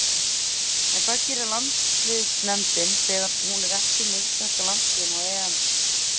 En hvað gerir landsliðsnefndin þegar hún er ekki með íslenska landsliðinu á EM?